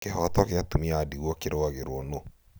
kĩhooto gĩa atumia a ndigwa kirũagĩrĩwo nũũ?